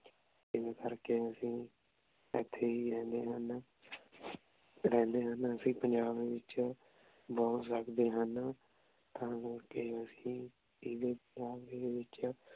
ਏਸ ਕਰ ਕੇ ਅਸੀਂ ਏਥੇ ਈ ਰਹਨੀ ਆਂ ਰੇਹ੍ਨ੍ਡੇ ਹਨ ਅਸੀਂ ਪੰਜਾਬ ਵਿਚੋਂ ਬੋਹਤ ਸਕਦੇ ਹਨ ਤਾਂ ਕਰ ਕੇ ਅਸੀਂ ਦੇ ਵਿਚ